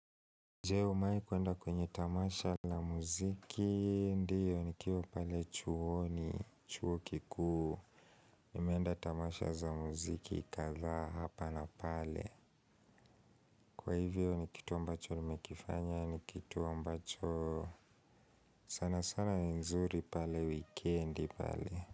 Je, umewahi kwenda kwenye tamasha la muziki? Ndio nikiwa pale chuoni, chuo kikuu, nimeenda tamasha za muziki kadhaa hapa na pale Kwa hivyo ni kitu ambacho nimekifanya, ni kitu ambacho sana sana ni nzuri pale wikendi pale.